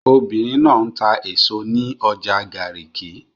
Obìnrin náà ń ta èso ní ọjà Garki